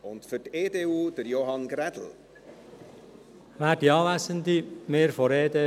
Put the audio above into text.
Wir von der EDU sind für die Auflösung dieser Fonds.